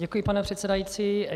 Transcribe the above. Děkuji, pane předsedající.